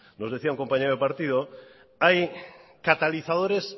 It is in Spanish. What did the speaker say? nos decía un compañero de partido hay catalizadores